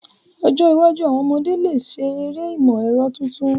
Ní ọjọ́ iwájú, àwon ọmọdé lè ṣe eré ìmọ̀ ẹ̀rọ tuntun.